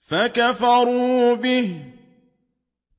فَكَفَرُوا بِهِ ۖ